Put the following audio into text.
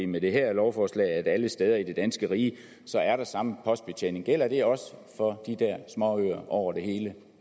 med det her lovforslag sikrer at der alle steder i det danske rige er samme postbetjening gælder det også for de der småøer over det hele